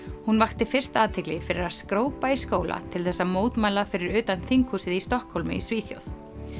hún vakti fyrst athygli fyrir að skrópa í skólanum til þess að mótmæla fyrir utan þinghúsið í Stokkhólmi í Svíþjóð